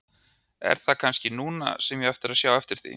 Er það kannski núna sem ég á að sjá eftir því?